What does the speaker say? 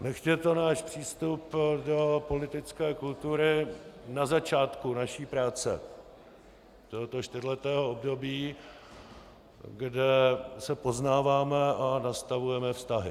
Nechť je to náš přístup do politické kultury na začátku naší práce tohoto čtyřletého období, kde se poznáváme a nastavujeme vztahy.